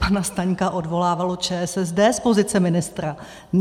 Pana Staňka odvolávala ČSSD z pozice ministra.